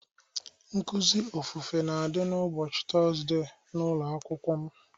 Nkụzi ofufe na adị ụbọchị Tọzdee n'ụlọ akwụkwọ m